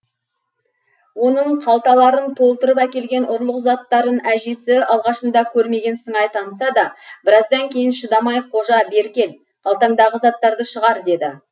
оның қалталарын толтырып әкелген ұрлық заттарын әжесі алғашында көрмеген сыңай танытса да біраздан кейін шыдамай қожа бері кел қалтаңдағы заттарды шығар деді